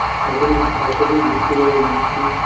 এখনো তো তার সাথেই ঘুরতে যাবো ভাবছি